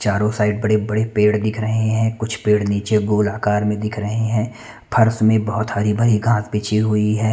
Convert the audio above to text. चारो साइड बड़े-बड़े पेड़ दिख रहे है कुछ पेड़ निचे गोल आकार में दिख रहे है फर्स में बहुत हरी-भरी घास बिछी हुई है।